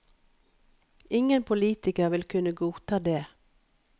Ingen politiker vil kunne godta det.